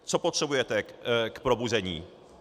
Co potřebujete k probuzení?